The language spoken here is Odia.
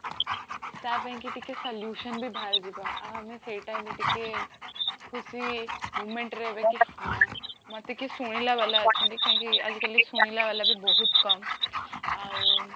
ତାପାଇଁକି ଟିକେ solution ବି ବାହାରିଯିବ ଆଉ ଆମେ ସେଇ time ରେ ଟିକେ ଖୁସି moment ରେ କି ହଁ ମତେ କିଏ ଶୁଣିଲା ବାଲା ଅଛନ୍ତି କାହିଁକି ଆଜି କଲି ସୁଲୀଳା ବାଲାବି ବହୁତ କମ ଆଉ